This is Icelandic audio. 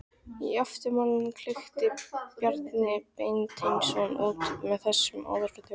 Í eftirmálanum klykkti Bjarni Beinteinsson út með þessum orðum